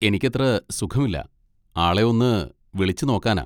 എനിക്കത്ര സുഖമില്ല, ആളെ ഒന്ന് വിളിച്ച് നോക്കാനാ.